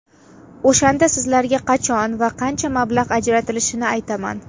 O‘shanda sizlarga qachon va qancha mablag‘ ajratilishini aytaman.